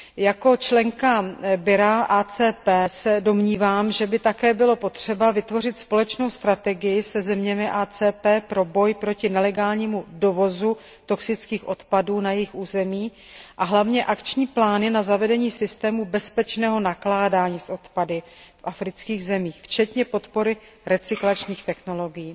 Jako členka předsednictva AKT se domnívám, že by také bylo potřeba vytvořit společnou strategii se zeměmi AKT pro boj proti nelegálnímu dovozu toxických odpadů na jejich území a hlavně akční plány na zavedení systému bezpečného nakládaní s odpady v afrických zemích, včetně podpory recyklačních technologií.